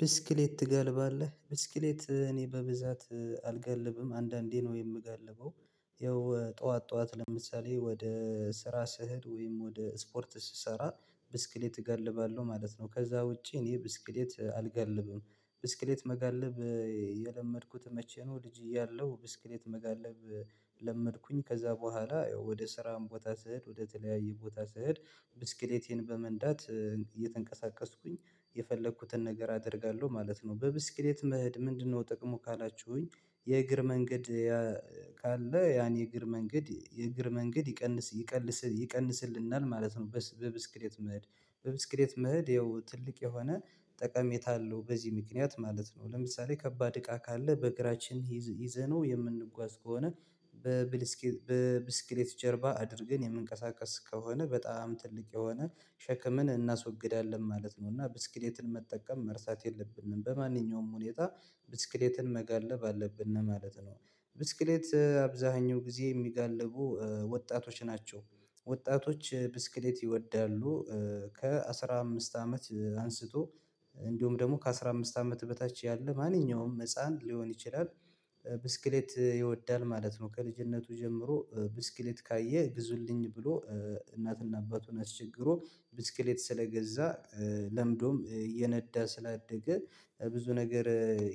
ብስክሌት ትጋልባለህ? ብስክሌት እኔ በብዛት አልጋልብም። አንዳንዴ ነው የምጋልበው። ይኸው ጠዋት ጠዋት ለምሳሌ ወደ ስራ ስሄድ ወይም ወደ ስፖርት ስሰራ ብስክሌት እገልባለሁ ማለት ነው። ከዛ ውጪ እኔ ብስክሌት አልጋልብም። ብስክሌት መጋልብ የለመድኩት መቼ ነው ልጅ ያለው ብስክሌት መጋለብ ለመድኩኝ። ከዛ በኋላ ወደ ስራም ቦታ ስሄድ ወደ ወደተለያየ ቦታ ስሄድ ብስክሌቴን በመንዳት እየተንቀሳቀስኩኝ የፈለኩትን ነገር አደርጋለሁ ማለት ነው። በብስክሌት መሄድ ምንድነው ጥቅሙ? ካላችሁኝ፥ የእግር መንገድ ካለ ያን የእግር መንገድ የእግር መንገድ ይቀንስ ይቀንስ ይቀንስልናል ማለት ነው በብስክሌት መሄድ። በብስክሌት መሄድ ያው ትልቅ የሆነ ጠቀሜታ አለው በዚህ ምክንያት ማለት ነው። ለምሳሌ ከባድ እቃ ካለ በእግራችን ይዘነው የምንጓዝ ከሆነ በብስክሌት ጀርባ አድርገን የምንቀሳቀስ ከሆነ በጣም ትልቅ የሆነ ሸክምን እናስወግዳለን ማለት ነው። እና ብስክሌትን መጠቀም መርሳት የለብንም። በማንኛውም ሁኔታ ብስክሌትን መጋለብ አለብን ማለት ነው። ብስክሌት አብዛኛው ጊዜ የሚጋልቡ ወጣቶች ናቸው። ወጣቶች ብስክሌት ይወዳሉ። ከአሥራ አምስት አመት አንስቶ እንዲሁም ደግሞ ከአሥራ አምስት አመት በታች ያለ ማንኛውም ህፃን ሊሆን ይችላል ብስክሌት ይወዳል ማለት ነው። ከልጅነቱ ጀምሮ ብስክሌት ካየ ግዙልኝ ብሎ እናትና አባቱን አስቸግሮ ብስክሌት ስለገዛ ለምዶም እየነዳ ስላደገ ብዙ ነገር